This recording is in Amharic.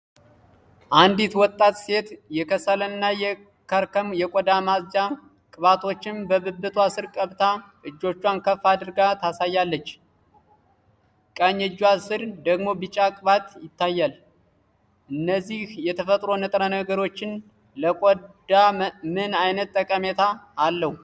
አንዲት ወጣት ሴት የከሰል እና የከርከም የቆዳ ማጽጃ ቅባቶችን በብብቷ ስር ቀብታ እጆቿን ከፍ አድርጋ ታሳያለች። ቀኝ እጇ ስር ደግሞ ቢጫ ቅባት ይታያል። እነዚህ የተፈጥሮ ንጥረ ነገሮች ለቆዳ ምን አይነት ጠቀሜታ አላቸው?